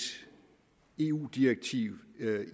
eu direktiv